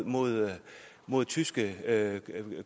mod mod tyske